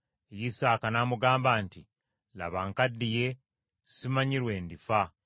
Isaaka n’amugamba nti, “Laba, nkaddiye, simanyi lwe ndifa.